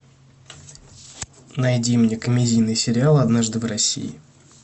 найди мне комедийный сериал однажды в россии